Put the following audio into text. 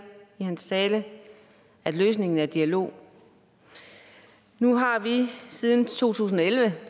i sin tale at løsningen er dialog nu har vi siden to tusind og elleve